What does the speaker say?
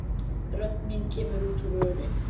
Rödd mín kemur út úr röri.